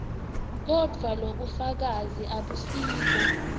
kodvwa lobufakazi abusibo